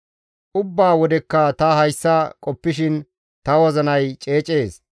Ubbaa wodekka ta hayssa qoppishin ta wozinay ceecees.